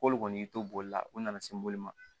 K'olu kɔni y'i to boli la u nana se boli ma